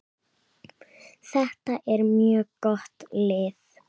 Þetta er mjög gott lið.